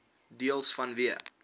deels vanweë